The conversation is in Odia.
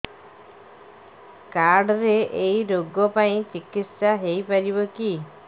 କାର୍ଡ ରେ ଏଇ ରୋଗ ପାଇଁ ଚିକିତ୍ସା ହେଇପାରିବ କି